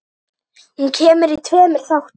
Hún kemur í tveimur þáttum.